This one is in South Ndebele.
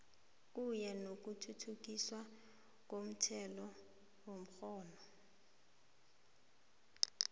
kunye nokuthuthukiswa komthethomgomo